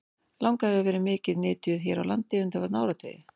Langa hefur verið mikið nytjuð hér á landi undanfarna áratugi.